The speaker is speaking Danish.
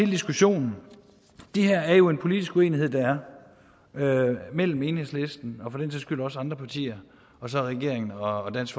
diskussionen det her er jo en politisk uenighed der er mellem enhedslisten og for den sags skyld også andre partier og så regeringen og dansk